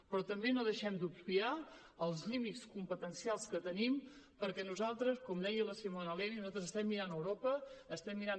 però també no deixem d’obviar els límits competencials que tenim perquè nosaltres com deia la simona levi estem mirant a europa estem mirant